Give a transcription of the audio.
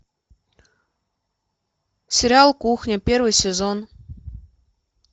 сериал кухня первый сезон